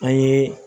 An ye